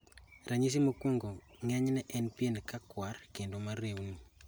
Ranyisi mokwongo ng'enyne en pien na kuar kendo mareuni.